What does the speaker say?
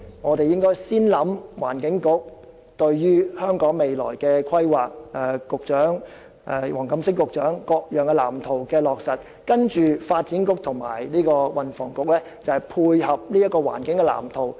我們應首先考慮環境局就香港未來所作的規劃，由黃錦星局長落實各種藍圖，再由發展局和運輸及房屋局配合這些環境藍圖。